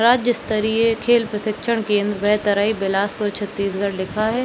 राजस्तरीय खेल प्रशिक्षण केंद वैतरई बिलासपुर छत्तीसगढ़ लिखा है।